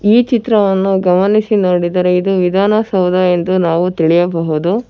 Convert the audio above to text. ಈ ಚಿತ್ರವನ್ನು ಗಮನಿಸಿ ನೋಡಿದರೆ ಇದು ವಿಧಾನಸೌದವೆಂದು ನಾವು ತಿಳಿಯಬಹುದು.